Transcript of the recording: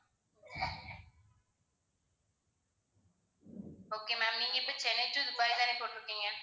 okay ma'am நீங்க இப்போ Chennai to Dubai தானே போட்டிருக்கீங்க?